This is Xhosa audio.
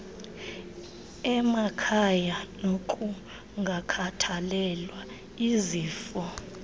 emakhaya nokungakhathalelwa izifo